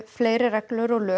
fleiri reglur og lög